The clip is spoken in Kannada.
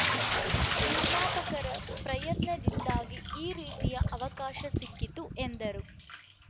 ನಿರ್ಮಾಪಕರ ಪ್ರಯತ್ನದಿಂದಾಗಿ ಈ ರೀತಿಯ ಅವಕಾಶ ಸಿಕ್ಕಿತು ಎಂದರು